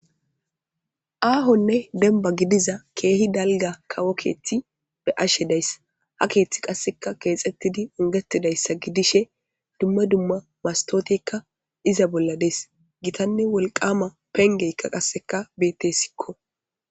aahonne demba gidiza keehi dalga kawo keeththi be ashe dayssa ha keeththi qasseka keexettidi ungetidayssa gidishe dumma dumma mastotekka iza bolla dees gitanne wolqama pengeykka qasseka beettesikko